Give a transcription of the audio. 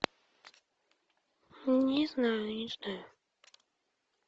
не знаю не знаю